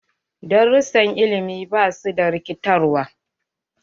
Darussan ilimi ba su da rikitarwa.